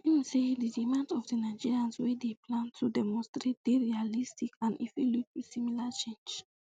im say di demands of di nigerians wey dey um plan to demonstrate dey realistic and e fit lead to similar change